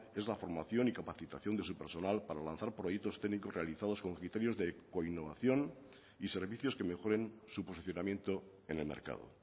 es la formación y capacitación de su personal para lanzar proyectos técnicos realizados con criterios de coinnovación y servicios que mejoren su posicionamiento en el mercado